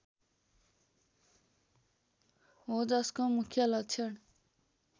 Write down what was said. हो जसको मुख्य लक्षण